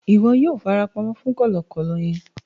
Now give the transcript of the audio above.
Ìwo yio fara pamó fún kòlòkòlò yen